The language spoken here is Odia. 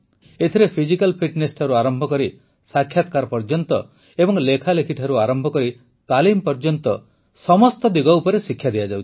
ଏଥିରେ ଫିଜିକାଲ୍ ଫିଟ୍ନେସ୍ଠାରୁ ଆରମ୍ଭ କରି ସାକ୍ଷାତକାର ପର୍ଯ୍ୟନ୍ତ ଏବଂ ଲେଖାଲେଖିଠାରୁ ଆରମ୍ଭ କରି ତାଲିମ ପର୍ଯ୍ୟନ୍ତ ସମସ୍ତ ଦିଗ ଉପରେ ଶିକ୍ଷା ଦିଆଯାଉଛି